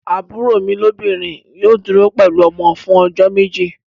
Àbúrò mi lóbìnrin yóò dúró pẹ̀lú ọmọ fún ọjọ́ méjì.